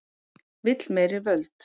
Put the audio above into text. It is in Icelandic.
Vill meiri völd